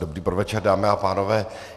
Dobrý podvečer, dámy a pánové.